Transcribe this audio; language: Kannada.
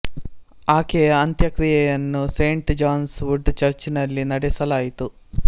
ಆಕೆಯ ಅಂತ್ಯಕ್ರಿಯೆಯನ್ನು ಸೇಂಟ್ ಜಾನ್ಸ್ ವುಡ್ ಚರ್ಚ್ ನಲ್ಲಿ ನಡೆಸಲಾಯಿತು